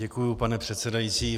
Děkuji, pane předsedající.